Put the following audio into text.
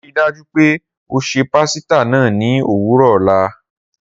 Rii daju pe o ṣe pasita naa ni owurọ ọla.